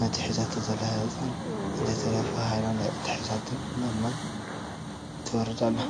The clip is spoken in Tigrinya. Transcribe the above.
ነቲ ሒዛቶ ዘላ ህፃን እንተይተረፈ ሃይላንድ ኣትሒዛቶ ናብ ማይ ትወርድ ኣሎ፡፡